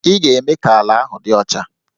Ị ga-eme ka ala ahụ dị ọcha!